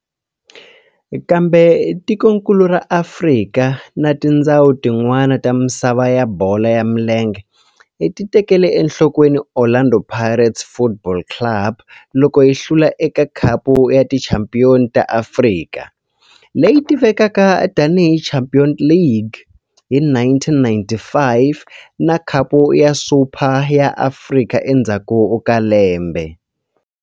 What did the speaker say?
Kambe tikonkulu ra Afrika na tindzhawu tin'wana ta misava ya bolo ya milenge ti tekele enhlokweni Orlando Pirates Football Club loko yi hlula eka Khapu ya Tichampion ta Afrika, leyi tivekaka tani hi Champions League, hi 1995 na Khapu ya Super ya Afrika endzhaku ka lembe.